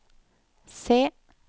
C